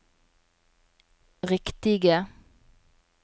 riktige